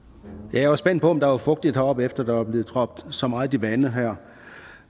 jeg var spændt på om der var fugtigt heroppe efter at der var blevet trådt så meget vande